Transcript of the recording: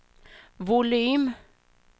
volym